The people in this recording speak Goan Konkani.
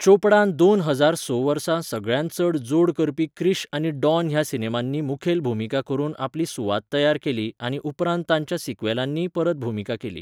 चोपडान दोन हजार स वर्सा सगळ्यांत चड जोड करपी क्रिश आनी डॉन ह्या सिनेमांनी मुखेल भुमिका करून आपली सुवात तयार केली आनी उपरांत तांच्या सिक्वेलांनीय परत भुमिका केली.